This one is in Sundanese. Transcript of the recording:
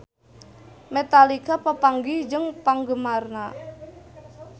Metallica papanggih jeung penggemarna